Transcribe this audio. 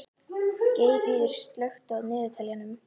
Geirríður, slökktu á niðurteljaranum.